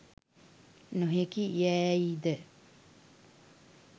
නොහැකි යෑයිද